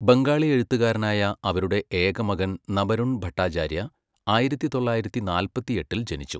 ബംഗാളി എഴുത്തുകാരനായ അവരുടെ ഏക മകൻ നബരുൺ ഭട്ടാചാര്യ ആയിരത്തി തൊള്ളായിരത്തി നാല്പത്തിയെട്ടിൽ ജനിച്ചു.